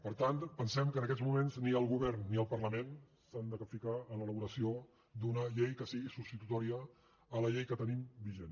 per tant pensem que en aquests moments ni el govern ni el parlament s’han de capficar en l’elaboració d’una llei que sigui substitutòria de la llei que tenim vigent